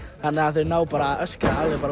þannig að þau ná að öskra